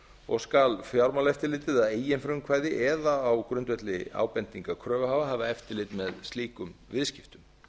og skal fjármálaeftirlitið að eigin frumkvæði eða á grundvelli ábendinga kröfuhafa hafa eftirlit með slíkum viðskiptum